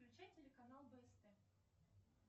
включай телеканал бст